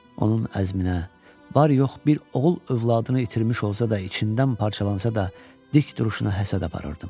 Onun əzminə, var yox bir oğul övladını itirmiş olsa da, içindən parçalansa da, dik duruşuna həsəd aparırdım.